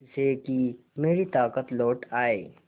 जिससे कि मेरी ताकत लौट आये